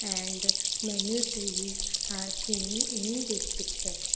and many trees are seen in this picture.